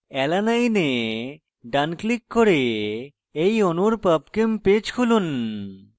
alanine এ ডান click করে এই অণুর pubchem পেজ খুলুন